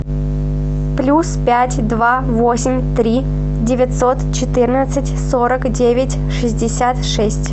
плюс пять два восемь три девятьсот четырнадцать сорок девять шестьдесят шесть